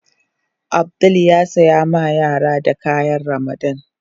Abdul ya sayi ma yaran da kayan Ramadan.